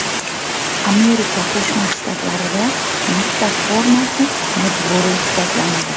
Amerika Qo‘shma Shtatlarida maktab formasi majburiy hisoblanadi.